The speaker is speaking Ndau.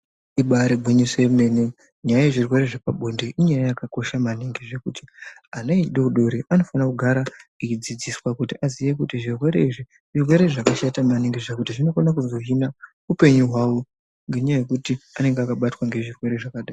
Ibaari gwinyiso yemene nyaya yezvirwere zvepabonde inyaya yakakosha maningi zvekuti ana edoodori anofana kugara eidzidziswa kuti aziye kuti zvirwere izvi zvirwere zvakashata maningi zvekuti zvinokona kuzohina upenyu hwavo ngenyaya yekuti anenge akabatwa ngezvirwere zvakadai.